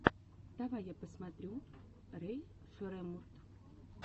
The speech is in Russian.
давай я посмотрю рэй шреммурд